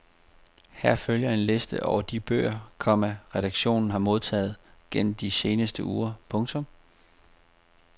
Her følger en liste over de bøger, komma redaktionen har modtaget gennem de seneste uger. punktum